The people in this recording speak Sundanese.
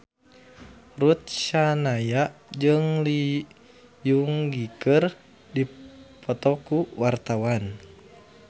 Ruth Sahanaya jeung Lee Seung Gi keur dipoto ku wartawan